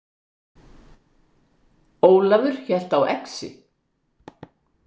Ólafur hélt á exi.